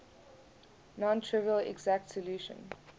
non trivial exact solution